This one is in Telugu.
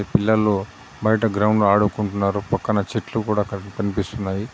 పిల్లలు బయట గ్రౌండ్లో ఆడుకుంటున్నారు. పక్కన చెట్లు కూడా కన్-కనిపిస్తున్నాయి.